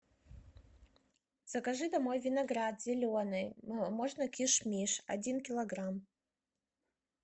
закажи домой виноград зеленый можно киш миш один килограмм